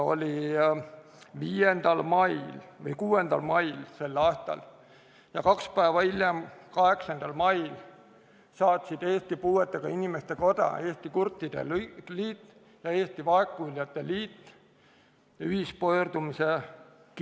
a 5. mail või 6. mail ja kaks päeva hiljem, 8. mail saatsid Eesti Puuetega Inimeste Koda, Eesti Kurtide Liit ja Eesti Vaegkuuljate Liit ühispöördumise.